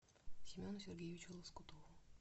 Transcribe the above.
семену сергеевичу лоскутову